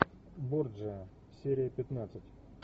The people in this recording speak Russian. борджиа серия пятнадцать